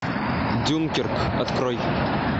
дюнкерк открой